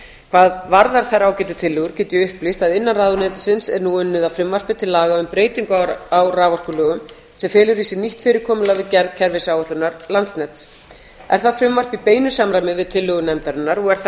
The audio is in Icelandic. varðar þær ágætu tillögur get ég upplýst að innan ráðuneytisins er nú unnið að frumvarpi til laga um breytingu á raforkulögum sem felur í sér nýtt fyrirkomulag við gerð kerfisáætlunar landsnets er það frumvarp í beinu samræmi við tillögu nefndarinnar og er þar